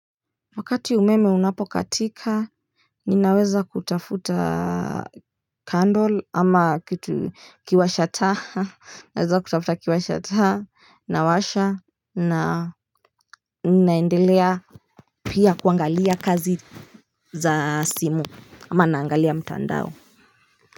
Wakati umeme unapokatika ninaweza kutafuta candle ama kitu kiwasha taa naweza kutafuta kiwasha taa nawasha na naendelea pia kuangalia kazi za simu ama naangalia mtandao.